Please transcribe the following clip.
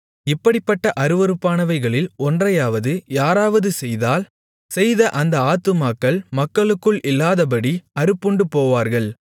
இப்படிப்பட்ட அருவருப்பானவைகளில் ஒன்றையாவது யாராவது செய்தால் செய்த அந்த ஆத்துமாக்கள் மக்களுக்குள் இல்லாதபடி அறுப்புண்டு போவார்கள்